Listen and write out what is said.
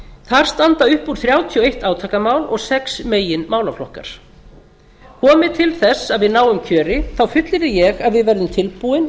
þar standa upp úr þrjátíu og eitt átakamál og sex meginmálaflokkar komi til þess að við náum kjöri þá fullyrði ég að við verðum tilbúin